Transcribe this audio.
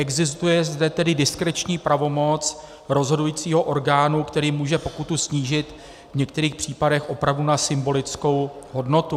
Existuje zde tedy diskreční pravomoc rozhodujícího orgánu, který může pokutu snížit, v některých případech opravdu na symbolickou hodnotu.